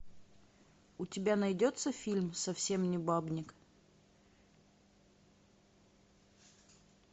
у тебя найдется фильм совсем не бабник